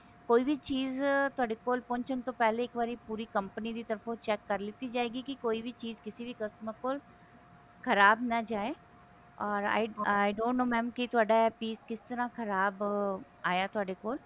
ਕੋਈ ਵੀ ਚੀਜ਼ ਤੁਹਾਡੇ ਕੋਲ ਪਹੁੰਚਣ ਤੋਂ ਪਹਿਲੇ ਇੱਕ ਵਾਰੀ ਪੂਰੀ company ਦੀ ਤਰਫ਼ ਤੋਂ check ਕਰ ਲੀਤੀ ਜਾਇਗੀ ਕੀ ਕੋਈ ਵੀ ਚੀਜ਼ ਕਿਸੀ ਵੀ customer ਕੋਲ ਖਰਾਬ ਨਾ ਜਾਏ or i don't know mam ਕੀ ਤੁਹਾਡਾ ਇਹ piece ਕਿਸ ਤਰ੍ਹਾਂ ਖਰਾਬ ਆਇਆ ਤੁਹਾਡੇ ਕੋਲ